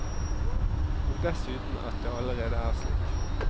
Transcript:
Og dessuten at det allerede er slik.